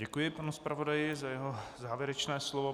Děkuji panu zpravodaji za jeho závěrečné slovo.